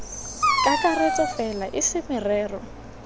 kakaretso fela e se merero